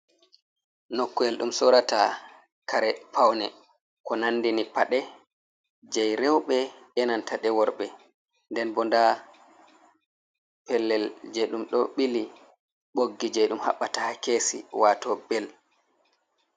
Nokkuyel ɗum sorata kare pawne ko nandini paɗe jei rewɓe e'nanta de worɓe. Nden bo nda pellel je ɗum ɗo ɓili ɓoggi je ɗum haɓɓata ha kesi wato bel.